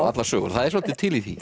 allar sögur það er svolítið til í því